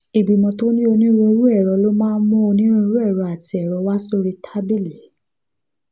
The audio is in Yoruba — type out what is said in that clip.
ìgbìmọ̀ tó ní onírúurú èrò ló máa ń mú onírúurú èrò àti èrò wá sórí tábìlì